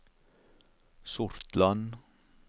Sortland